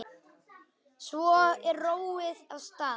Svo er róið af stað.